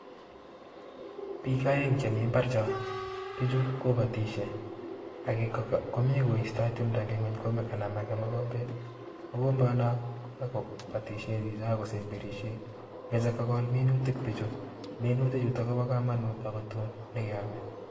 Piik aeng che mi mbar cho, pichu kobotishe, ake komi koistoi tumdo eng nguny ko kanan ake mokombet, mokombono kobotishe chicho ako kosemberisie, meche kokol minutik pichu, minuti chuto kobo kamanut akotun nekeome.